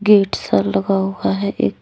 bed सा लगा हुआ है एक--